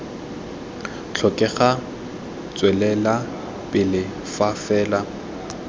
tlhokega tswelela pele fa fela